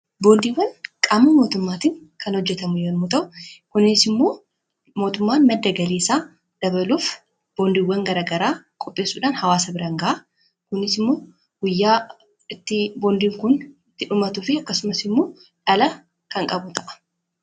boondiiwwan qaama mootummaatiin kan hojjetamu yoommuu ta'u kuniisimmoo mootummaan madda galiisaa dabaluuf boondiiwwan garagaraa qopheessuudhaan hawaasa biran gaha. kuniis immoo guyyaa itti boondiin kun itti dhumatuufi akkasumas immoo dhala kan qabu ta'a.